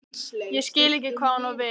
Ég skil ekki hvað hún á við.